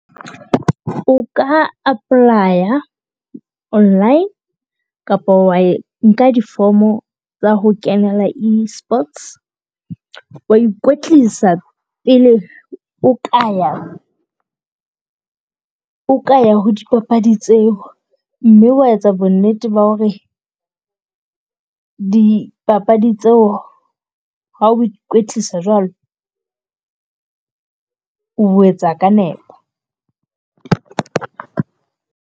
O ka apply-a online kapo wa nka difomo tsa ho kenela esports, wa ikwetlisa pele o ka ya. O ka ya ho dipapadi tseo, mme wa etsa bonnete ba ho re dipapadi tseo ha o ikwetlisa jwalo, o etsa ka nepo.